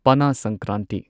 Pana Sankranti